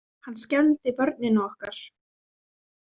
Hann skelfdi vörnina okkar.